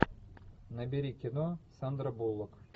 набери кино сандра буллок